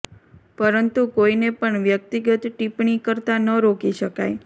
પરંતુ કોઇને પણ વ્યક્તિગત ટિપ્પણી કરતા ન રોકી શકાય